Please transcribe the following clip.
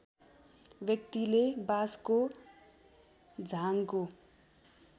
व्यक्तिले बाँसको झाङको